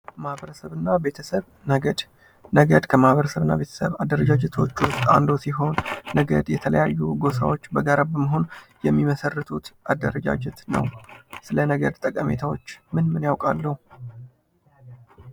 ማህበረሰብ እና ቤተሰብ ነገድ ነገድ ከማኅበረሰብና ቤተሰብም አደረጃጀቶች ውስጥ አንዱ ሲሆን፤ ነገድ የተለያዩ ጎሳዎች በጋራ በመሆን የሚመሰርቱት አደረጃጀት ነው። ስለ ነገድ ጠቀሜታዎች ምን ምን ያውቃሉ?